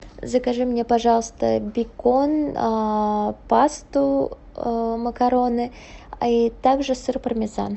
закажи мне пожалуйста бекон пасту макароны и также сыр пармезан